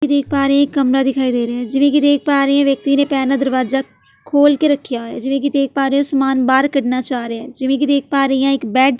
ਦੇਖ ਪਾ ਰਹੀ ਹਾਂ ਇੱਕ ਕਮਰਾ ਦਿਖਾਈ ਦੇ ਰਿਹਾ ਏ ਜਿਵੇਂ ਕਿ ਦੇਖ ਪਾ ਰਹੀ ਹਾਂ ਵਿਅਕਤੀ ਨੇ ਪੈਰ ਨਾਲ ਦਰਵਾਜ਼ਾ ਖੋਲ੍ਹ ਕੇ ਰਖਿਆ ਹੋਇਆ ਹੈ ਜਿਵੇਂ ਕਿ ਦੇਖ ਪਾ ਰਹੀ ਹਾਂ ਸਮਾਨ ਬਾਹਰ ਕੱਢਣਾ ਚਾਹ ਰਿਹਾ ਹੈ ਜਿਵੇਂ ਕਿ ਦੇਖ ਪਾ ਰਹੀ ਹਾਂ ਇੱਕ ਬੈੱਡ --